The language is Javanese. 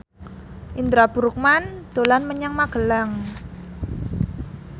Indra Bruggman dolan menyang Magelang